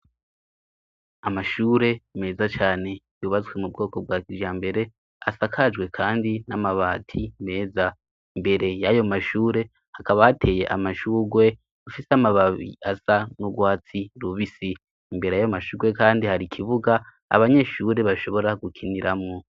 Amashure meza cane, yubatswe mu bwoko bwa kjambere, asakajwe kandi n'amabati meza, imbere y'ayo mashure hakaba hateye amashugwe afise amababi asa n'ugwatsi rubisi, imbere y'ayo mashurgwe kandi hari ikibuga abanyeshure bashobora gukiniramwo.